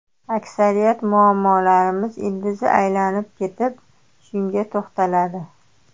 Aksariyat muammolarimiz ildizi aylanib kelib shunga to‘xtaladi.